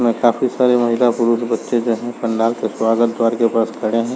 में काफी सारे महिला पुरुष बच्चे जो हैं पंडाल के स्वागत द्वार के पास खड़े हैं।